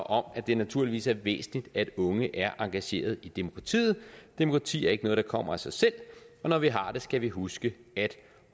om at det naturligvis er væsentligt at unge er engageret i demokratiet demokrati er ikke noget der kommer af sig selv og når vi har det skal vi huske at